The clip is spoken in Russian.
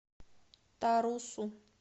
тарусу